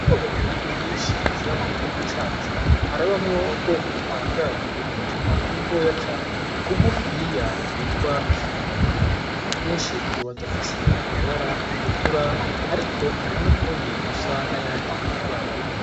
Ubwoko bw'inyoni yinshi ziba mu gihugu cacu harabamwo ubwoko butangaje bwutunyoni dutoya cane tugufiya twitwa ifundi gutwinshi tuba dufise amabara atukura, ariko hari n'utundi dusa n'ayandi mabara.